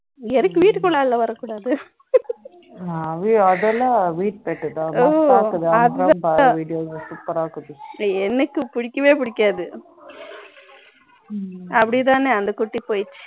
எனக்கு வீட்டுக்குள்ளே எல்லாம் வரக்கூடாது அதெல்லாம் வீட்டு pet தான் super ரா இருக்கும் எனக்கு பிடிக்கவே பிடிக்காது அப்படித்தானே இந்த குட்டி போயிடுச்சு